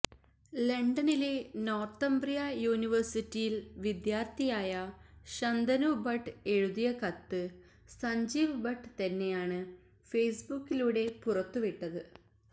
ലണ്ടനിലെ നോര്തംബ്രിയ യൂണിവേഴ്സിറ്റിയില് വിദ്യാര്ത്ഥിയായ ശന്തനു ഭട്ട് എഴുതിയ കത്ത് സഞ്ജീവ് ഭട്ട് തന്നെയാണ് ഫേസ്ബുക്കിലൂടെ പുറത്തുവിട്ടത്